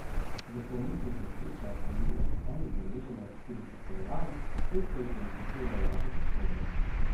V prometnih nesrečah je bil en udeleženec hudo poškodovan, pet pa jih je utrpelo lažje poškodbe.